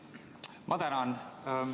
Ma tänan!